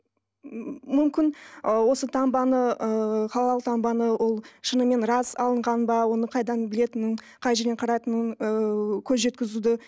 мүмкін ы осы таңбаны ыыы халал таңбаны ол шынымен рас алынған ба оны қайдан білетінін қай жерден қарайтынын ыыы көз жеткізуді